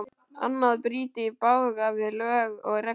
Annað bryti í bága við lög og reglur.